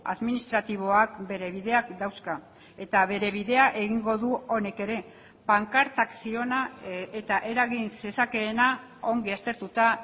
administratiboak bere bideak dauzka eta bere bidea egingo du honek ere pankartak ziona eta eragin zezakeena ongi aztertuta